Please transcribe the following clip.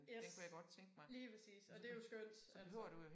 Yes lige præcis og det jo skønt altså